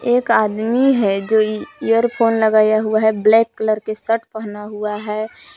एक आदमी है जो एयरफोन लगाया हुआ है ब्लैक कलर के शर्ट पहना हुआ है।